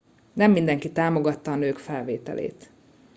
nem mindenki támogatta a nők felvételét